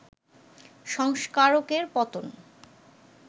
সংস্কারকের পতন